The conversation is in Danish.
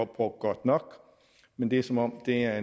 brugt godt nok men det er som om det er